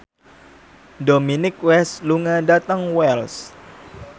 Dominic West lunga dhateng Wells